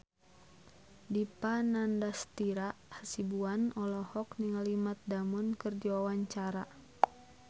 Dipa Nandastyra Hasibuan olohok ningali Matt Damon keur diwawancara